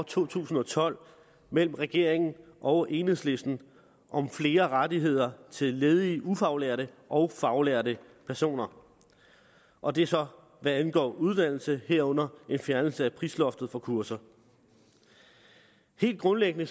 to tusind og tolv mellem regeringen og enhedslisten om flere rettigheder til ledige ufaglærte og faglærte personer og det er så hvad angår uddannelse herunder en fjernelse af prisloftet for kurser helt grundlæggende